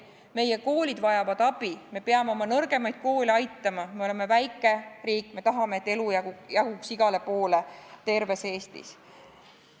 Meie koolid vajavad abi, me peame oma nõrgemaid koole aitama, me oleme väike riik, me tahame, et elu jaguks igale poole terves Eestis.